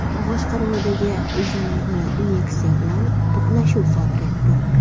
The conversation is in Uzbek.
boshqaruvidagi yana bir Nexia bilan to‘qnashuv sodir etdi.